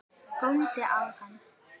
Góndi á hann.